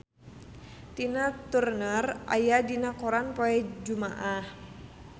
Tina Turner aya dina koran poe Jumaah